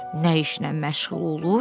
Nə işlə məşğul olur?